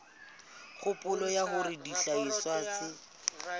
kgopolo ya hore dihlahiswa tse